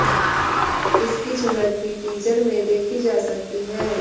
इसकी झलक भी टीजर में देखी जा सकती है